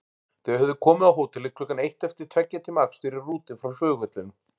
Þau höfðu komið á hótelið klukkan eitt eftir tveggja tíma akstur í rútu frá flugvellinum.